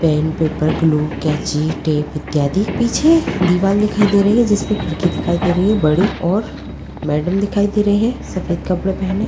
pen paper glue कांची tape इत्यादि पीछे दीवार दिखाई दे रही है जिस पर खिड़की दिखाई दे रही है बड़ी ओर मैडम दिखाई दे रही है सफेद कपड़े पहने--